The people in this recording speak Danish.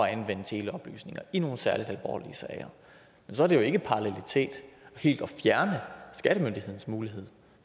at anvende teleoplysninger i nogle særlig alvorlige sager men så er det jo ikke parallelitet helt at fjerne skattemyndighedernes mulighed